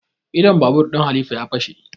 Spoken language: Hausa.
Idon babur ɗin halifa ya fashe